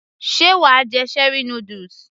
sé wàá jẹ cherie noodles